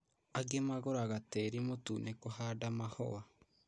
Angĩ magũraga tĩri mũtune kũhanda mahũa